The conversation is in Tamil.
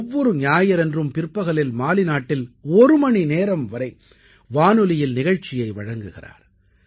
ஒவ்வொரு ஞாயிறன்றும் பிற்பகலில் மாலி நாட்டில் ஒரு மணிநேரம் வரை வானொலியில் நிகழ்ச்சியை வழங்குகிறார்